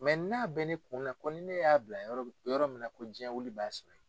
n'a bɛ ne kun na ko ni ne y'a bila yɔrɔ min yɔrɔ min na ko diɲɛwili b'a sɔrɔ yen.